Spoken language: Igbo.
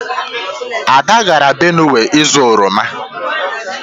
Ada gara Benue izu oroma.